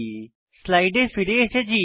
স্লাইডে ফিরে এসেছি